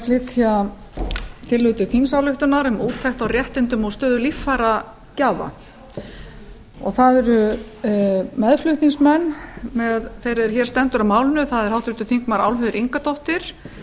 flytja tillögu til þingsályktunar um úttekt á réttindum og stöðu líffæragjafa meðflutningsmenn með þeirri er hér stendur að málinu eru háttvirtir þingmenn álfheiður ingadóttir